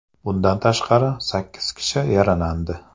Bundan tashqari, sakkiz kishi yaralandi.